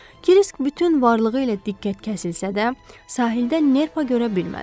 Krisk bütün varlığı ilə diqqət kəsilsə də, sahildə nerpa görə bilmədi.